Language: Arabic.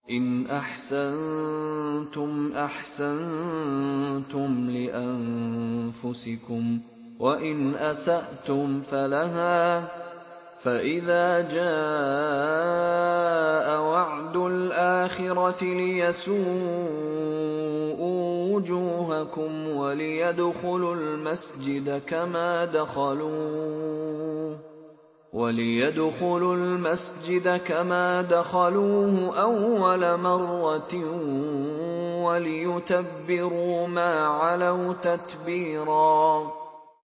إِنْ أَحْسَنتُمْ أَحْسَنتُمْ لِأَنفُسِكُمْ ۖ وَإِنْ أَسَأْتُمْ فَلَهَا ۚ فَإِذَا جَاءَ وَعْدُ الْآخِرَةِ لِيَسُوءُوا وُجُوهَكُمْ وَلِيَدْخُلُوا الْمَسْجِدَ كَمَا دَخَلُوهُ أَوَّلَ مَرَّةٍ وَلِيُتَبِّرُوا مَا عَلَوْا تَتْبِيرًا